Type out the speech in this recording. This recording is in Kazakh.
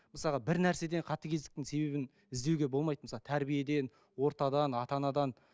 мысалға бір нәрседен қатыгездіктің себебін іздеуге болмайды мысалы тәрбиеден ортадан ата анадан